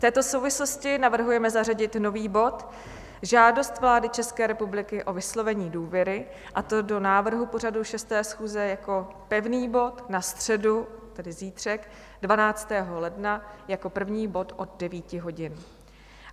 V této souvislosti navrhujeme zařadit nový bod Žádost vlády České republiky o vyslovení důvěry, a to do návrhu pořadu 6. schůze jako pevný bod na středu, tedy zítřek 12. ledna, jako první bod od 9 hodin.